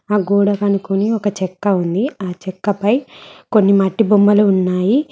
ఆ గోడకు అనుకొని ఒక చెక్క ఉంది ఆ చెక్క పై కొన్ని మట్టి బొమ్మలు ఉన్నాయి.